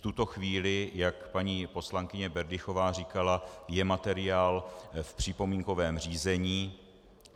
V tuto chvíli, jak paní poslankyně Berdychová říkala, je materiál v připomínkovém řízení.